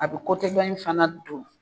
A bɛ dɔ in fana don.